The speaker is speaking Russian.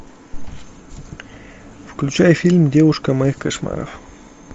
включай фильм девушка моих кошмаров